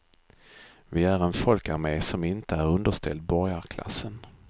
Vi är en folkarmé som inte är underställd borgarklassen.